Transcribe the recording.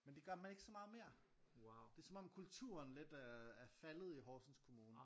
Men det gør man ikke så meget mere det er som om kulturen lidt er er faldet i Horsens kommune